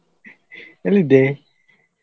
ಎಲ್ಲಿದ್ದಿ?